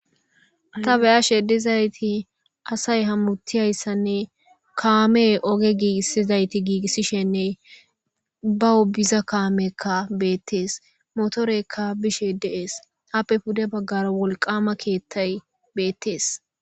Ta beyashe dizayti asay hamutishe dizayssinne kamey oge gigisishe de'izaytti gigisishin baw biza kameykka beetes motoreykka bishe de'es yappe pude bagara wolqqama keeththay beetes.